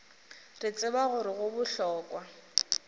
re tseba gore go bohlokwa